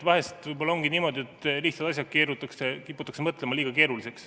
Vahel võib-olla ongi niimoodi, et lihtsad asjad kiputakse mõtlema liiga keeruliseks.